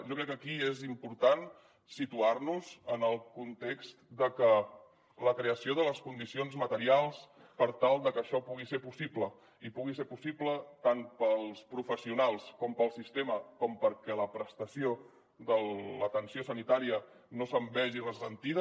jo crec que aquí és important situar nos en el context de que la creació de les condicions materials per tal de que això pugui ser possible i pugui ser possible tant per als professionals com per al sistema com perquè la prestació de l’atenció sanitària no se’n vegi ressentida